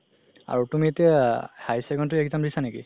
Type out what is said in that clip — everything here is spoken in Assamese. আৰু তুমি এতিয়া higher secondary exam দিছা নেকি?